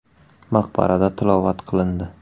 Maqbarada tilovat qilindi.